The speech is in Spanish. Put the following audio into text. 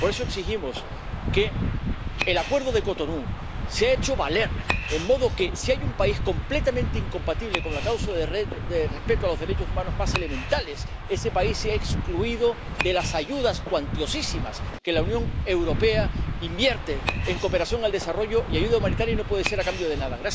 Por eso, exigimos que el Acuerdo de Cotonú sea hecho valer, de modo que, si hay un país completamente incompatible con la causa del respeto a los derechos humanos más elementales, ese país sea excluido de las ayudas cuantiosísimas que la Unión Europea invierte en cooperación al desarrollo y ayuda humanitaria y no puede ser a cambio de nada.